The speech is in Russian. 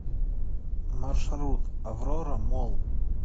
маршрут аврора молл